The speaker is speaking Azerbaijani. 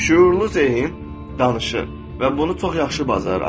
Şüurlu zeyin danışır və bunu çox yaxşı bacarır.